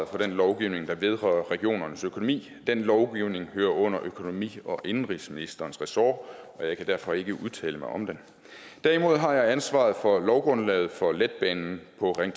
for den lovgivning der vedrører regionernes økonomi den lovgivning hører under økonomi og indenrigsministerens ressort og jeg kan derfor ikke udtale mig om den derimod har jeg ansvaret for lovgrundlaget for letbanen på ring